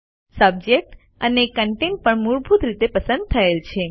subject અને contents પણ મૂળભૂત રીતે પસંદ થયેલ છે